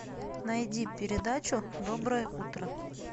найди передачу доброе утро